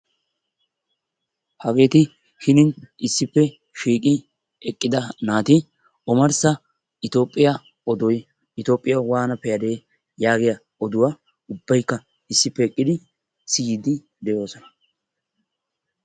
hageeti hinin issippe shiiqi eqida naati omarssaitoophphioya oduwa itoophiya waana pee'adee? yaagiya oduwaa issippe siyiidi de'oosona.